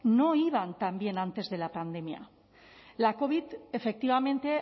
no iban tan bien antes de la pandemia la covid efectivamente